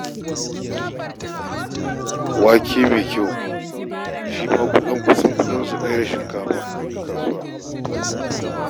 Wake mai kyau shi ma kusan kuɗinsu ɗaya da shinkafa a kasuwa